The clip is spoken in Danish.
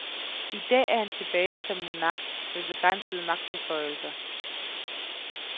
I dag er han tilbage som monark med begrænsede magtbeføjelser.